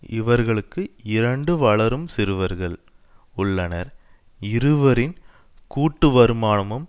இவர்களுக்கு இரண்டு வளரும் சிறுவர்கள் உள்ளனர் இருவரின் கூட்டுவருமானமும்